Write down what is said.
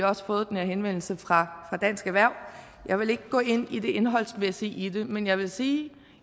også fået den her henvendelse fra dansk erhverv jeg vil ikke gå ind i det indholdsmæssige i det men jeg vil sige